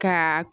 Ka